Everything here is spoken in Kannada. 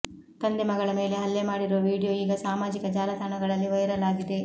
ತಂದೆ ಮಗಳ ಮೇಲೆ ಹಲ್ಲೆ ಮಾಡಿರುವ ವೀಡಿಯೋ ಈಗಾ ಸಾಮಾಜಿಕ ಜಾಲತಾಣಗಳಲ್ಲಿ ವೈರಲ್ ಆಗಿದೆ